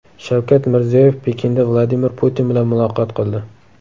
Shavkat Mirziyoyev Pekinda Vladimir Putin bilan muloqot qildi.